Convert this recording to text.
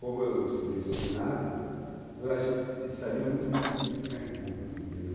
Como eu estudei em seminário, então a gente sabia muito bem se comunicar em público, entendeu?